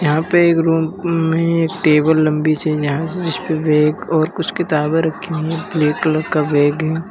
यहां पे एक रूम में एक टेबल लंबी से यहां से और कुछ किताब रखी है ब्लैक कलर का बैग है।